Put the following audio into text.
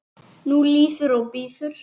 Nú líður og bíður.